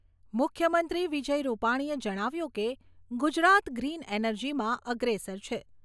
મુખ્યમંત્રી વિજય રૂપાણીએ જણાવ્યું કે, ગુજરાત ગ્રીન એનર્જીમાં અગ્રેસર છે.